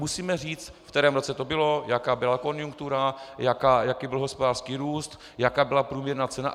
Musíme říct, v kterém roce to bylo, jaká byla konjunktura, jaký byl hospodářský růst, jaká byla průměrná cena.